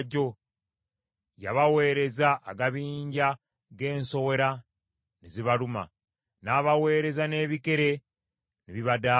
Yabaweereza agabinja g’ensowera ne zibaluma, n’abaweereza n’ebikere ne bibadaaza.